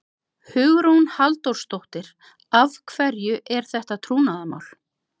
Hugrún Halldórsdóttir: Af hverju er þetta trúnaðarmál?